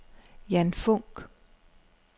Ian Funch